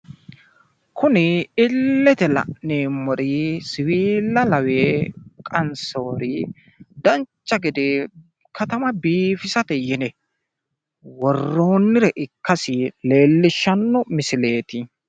kuni illete la'neemmori siwiilla laweere qansooniri dancha gede katama biifisate yine worroonni ikkasi leellishanno misileeti.